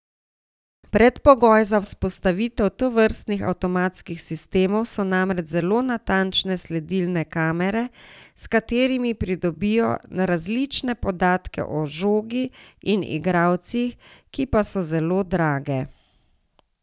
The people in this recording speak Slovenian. Predpogoj za vzpostavitev tovrstnih avtomatskih sistemov so namreč zelo natančne sledilne kamere, s katerimi pridobijo različne podatke o žogi in igralcih, ki pa so zelo drage.